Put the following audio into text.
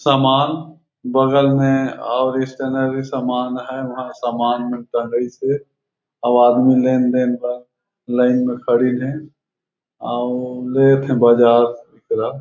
सामन बगल में और स्टेनरी सामान हे वहाँ समान निकल गइस हे आउ आदमी लेन-देन बर लाइन में खड़ीन है आउ लेत है बाजार ओइ करा--